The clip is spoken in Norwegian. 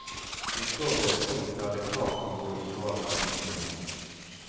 Vi står ved et punkt der det klart kan gå i gal retning igjen.